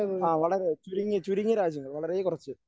ആ വളരെ ചുരുങ്ങി ചുരുങ്ങിയ രാജ്യങ്ങൾ വളരെ കുറച്ച്